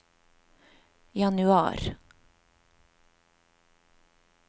januar